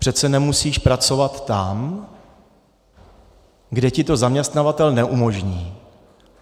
Přece nemusíš pracovat tam, kde ti to zaměstnavatel neumožní.